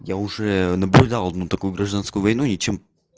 я уже наблюдал одну такую гражданскую войну ничем